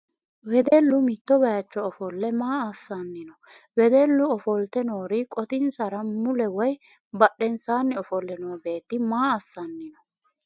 Wedelu mitto bayicho ofole maa assanni no? Wedelu ofolte noori qotinsara mule woyi badhensaanni ofole noo beeti maa assanni no?